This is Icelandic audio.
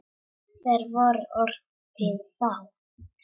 Hver voru orð þín þá?